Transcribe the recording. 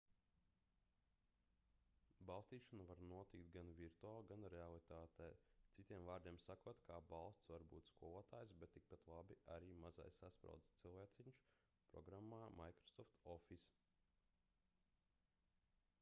balstīšana var notikt gan virtuāli gan realitātē citiem vārdiem sakot kā balsts var būt skolotājs bet tikpat labi arī mazais saspraudes cilvēciņš programmā microsoft office